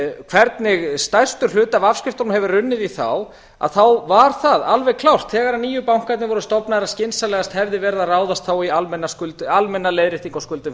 hvernig stærstur hluti af afskriftunum hefur runnið í þá að þá var það alveg klárt þegar nýju bankarnir voru stofnaðir að skynsamlegast hefði verið að ráðast í almenna leiðréttingu á skuldum